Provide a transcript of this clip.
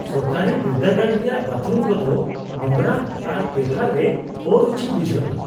ᱥᱚᱨᱠᱟᱨᱟᱤ ᱵᱤᱨᱫᱟᱹᱜᱟᱲ ᱨᱮᱭᱟᱜ ᱵᱟᱛᱷᱨᱩᱢ ᱠᱚᱫᱚ ᱱᱚᱝᱨᱟ ᱟᱨ ᱵᱮᱣᱦᱟᱨ ᱨᱮ ᱚᱨᱩᱪᱤ ᱵᱩᱡᱷᱟᱹᱜᱼᱟ ᱾